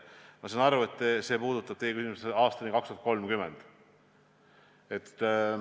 Ma saan aru, et see puudutab teie küsimuses ajavahemikku aastani 2030.